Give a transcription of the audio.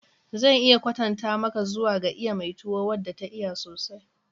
Zan iya kwatanta maka zuwa ga iya mai tuwo wadda ta iya sosai.